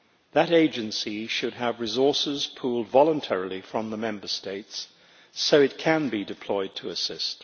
That agency should have resources pooled voluntarily from the Member States so it can be deployed to assist.